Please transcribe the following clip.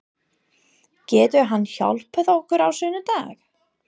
Getur hann hjálpað okkur á sunnudag?